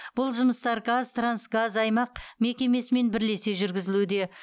бұл жұмыстар қазтрансгазаймақ мекемесімен бірлесе жүргізілуде